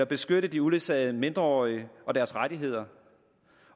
beskytte de uledsagede mindreårige og deres rettigheder